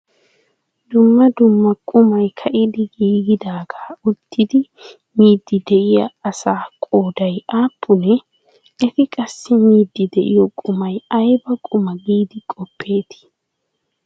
Dumma dumma qumay ka'idi giigidaagaa uttidi miiddi de'iya asaa qooday aappunee? Eti qassi miiddi de'iyo qumay ayba quma giidi qoppeetii?